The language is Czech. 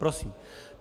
Prosím.